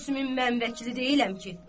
Gülsümün mən vəkili deyiləm ki.